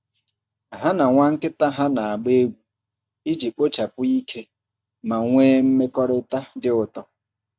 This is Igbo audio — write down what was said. Ha na nwa nkịta ha na-agba egwu iji kpochapụ ike ma nwee mmekọrịta dị ụtọ.